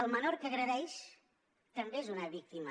el menor que agredeix també és una víctima